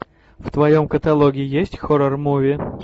в твоем каталоге есть хоррор муви